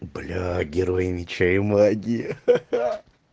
бля герои меча и магии ха-ха